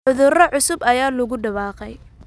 Cudurro cusub ayaa lagu dhawaaqay